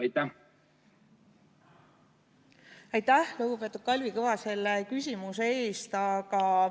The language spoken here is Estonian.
Aitäh, lugupeetud Kalvi Kõva, selle küsimuse eest!